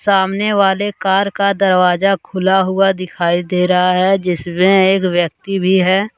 सामने वाले कार का दरवाजा खुला हुआ दिखाई दे रहा है जिसमें एक व्यक्ति भी है।